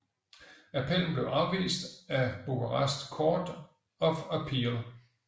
Appellen blev afvist af Bukarest Court of Appeal